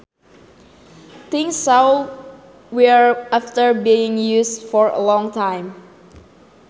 Things show wear after being used for a long time